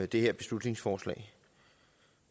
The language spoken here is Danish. det her beslutningsforslag